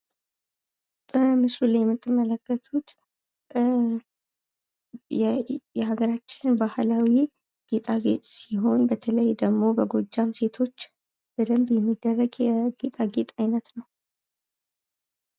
በምስሉ ላይ የምትመለከቱት የሀገራችን ባህላዊ ጌጣጌጥ ሲሆን በተለይ ደግሞ በጎጃም ሴቶች በደንብ የሚደረግ የጌጣጌጥ አይነት ነው።